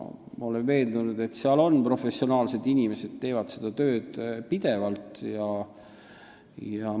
Ma olen veendunud, et seal on professionaalsed inimesed, nad teevad seda tööd pidevalt.